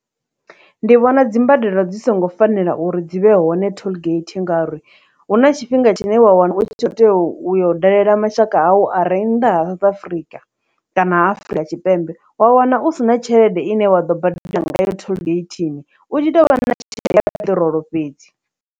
Ndi vhona dzimbadelo dzi songo fanela uri dzi vhe hone tollgate ngauri hu na tshifhinga tshine wa wana u tshi tea u, u yo dalela mashaka awu a re nnḓa ha South Africa kana ha Afurika Tshipembe, wa wana u si na tshelede ine wa ḓo badela ngayo tholgeithini u tshi tou vha na tshelede ya peṱirolo fhedzi.